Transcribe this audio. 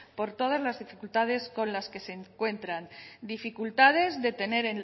por todas las dificultades con las que se encuentran dificultades de tener